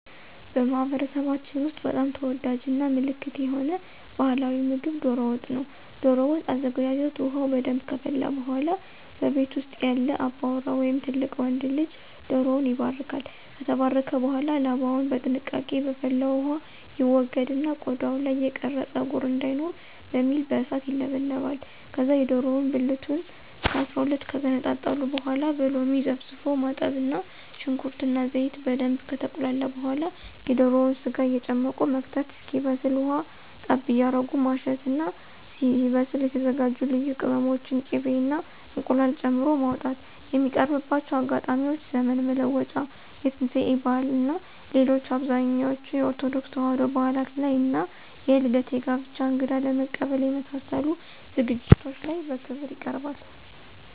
በማህበረሰባችን ውስጥ በጣም ተወዳጅ እና ምልክት የሆነ ባህላዊ ምግብ ዶሮ ወጥ ነው። ዶሮ ወጥ አዘገጃጀት ውሃው በደንብ ከፈላ በኃላ በቤት ውስጥ ያለ አባወራ ወይም ትልቅ ወንድ ልጅ ዶሮውን ይባርካል። ከተባረከ በኃላ ላባውን በጥንቃቄ በፈላው ውሃ ይወገድና ቆዳው ላይ የቀረ ፀጉር እንዳይኖር በሚል በእሳት ይለበለባል። ከዛ የዶሮውን ብልቱን ከ12 ከገነጣጠሉ በኃላ በሎሚ ዘፍዝፎ ማጠብ እና ሽንኩርት እና ዘይት በደንብ ከተቁላላ በኃላ የዶሮውን ስጋ እየጨመቁ መክተት እስኪበስል ውሃ ጠብ እያረጉ ማሸት እና ሲበስል የተዘጋጁ ልዩ ቅመሞችን፣ ቂቤ እና እንቁላል ጨምሮ ማውጣት። የሚቀርብባቸው አጋጣሚዎች ዘመን መለወጫ፣ የትንሳኤ በዓል እና ሌሎች አብዛኞቹ የኦርቶዶክስ ተዋሕዶ በዓላት ላይ እና የልደት፣ የጋብቻ፣ እንግዳ ለመቀበል የመሳሰሉት ዝግጅቶች ላይ በክብር ይቀርባል።